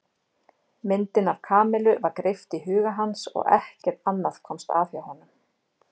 Myndin af Kamillu var greipt í huga hans og ekkert annað komst að hjá honum.